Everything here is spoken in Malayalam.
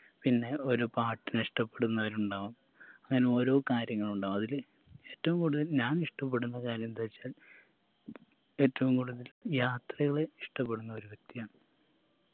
പിന്നെ ഒരു പാട്ടിനെ ഇഷ്ട്ടപെടുന്നവരുണ്ടാവാം അങ്ങനെ ഓരോ കാര്യങ്ങളുണ്ടാവാം അതില് ഏറ്റവും കൂടുതൽ ഞാൻ ഇഷ്ട്ടപ്പെടുന്ന കാര്യെന്താച്ചാൽ ഏറ്റവും കൂടുതൽ യാത്രകളെ ഇഷ്ട്ടപ്പെടുന്ന ഒരു വ്യക്തിയാണ്